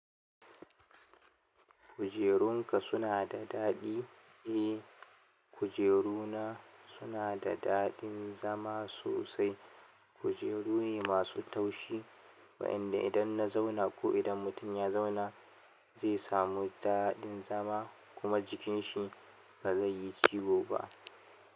Kujerun ka suna sa daɗi? Eh, kujeruna suna da daɗin zama sosai. Kujeru ne masu taushi waɗanda idan na zauna ko idan mutum ya zauna zai samu daɗin zama kuma jikin shi ba zai yi ciwo ba.